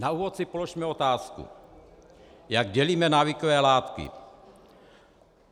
Na úvod si položme otázku, jak dělíme návykové látky.